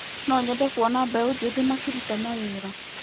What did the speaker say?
No nyende kuona mbeũ njĩthĩ makĩruta mawĩra.